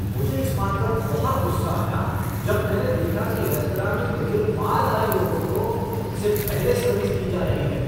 मुझे इस बात पर बहुत गुस्सा आया जब मैंने देखा कि रेस्तरां में मेरे बाद आए लोगों को मुझसे पहले सर्विस दी जा रही है।